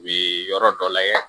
U bi yɔrɔ dɔ layɛ